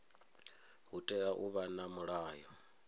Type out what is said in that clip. hu tea u vha na mulayo